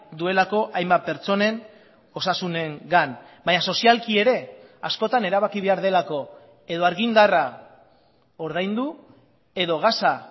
duelako hainbat pertsonen osasunengan baina sozialki ere askotan erabaki behar delako edo argindarra ordaindu edo gasa